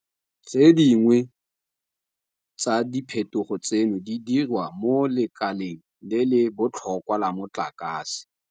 Tse dingwe tsa diphetogo tseno di diriwa mo lekaleng le le botlhokwa la motlakase.